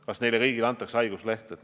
Kas neile kõigile antakse haigusleht?